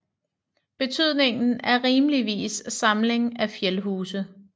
Betydningen er rimeligvis Samling af fjælhuse